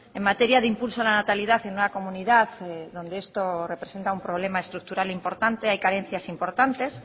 en materia de impulso a la natalidad en una comunidad donde esto representa un problema estructural importante hay carencias importantes